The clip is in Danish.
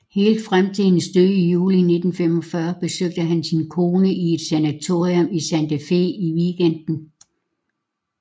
Helt frem til hendes død i juli 1945 besøgte han sin kone i et sanatorium i Santa Fe i weekenden